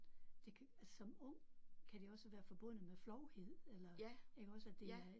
Det altså som ung kan det også være forbundet med flovhed eller iggås at det er